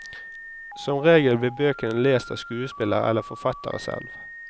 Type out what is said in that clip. Som regel blir bøkene lest av skuespillere eller forfatterne selv.